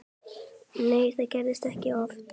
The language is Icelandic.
Nei það gerist ekki oft.